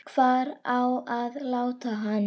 Hvar á að láta hann?